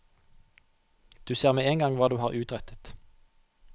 Du ser med en gang hva du har utrettet.